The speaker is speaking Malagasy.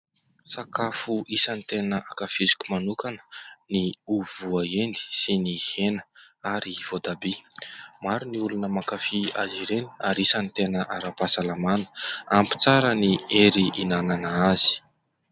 Sakafo isan'ny tena ankafiziko manokana ny ovy voahendy sy ny hena ary voatabia. Maro ny olona mankafy azy ireny ary isan'ny tena ara-pahasalamana, ampy tsara ny hery hinana azy.